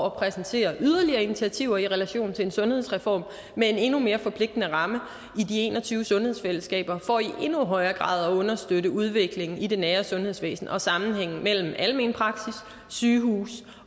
at præsentere yderligere initiativer i relation til en sundhedsreform med en endnu mere forpligtende ramme i de en og tyve sundhedsfællesskaber for i endnu højere grad at understøtte udviklingen i det nære sundhedsvæsen og sammenhængen mellem almen praksis sygehus